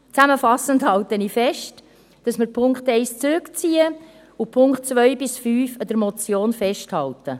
Zusammenfassend halte ich fest, dass wir den Punkt 1 zurückziehen und an den Punkten 2 bis 5 der Motion festhalten.